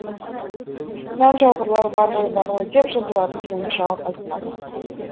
нән жауғырлар бар ғой бар ғой деп жыбырлатып жөнді жауап айтпады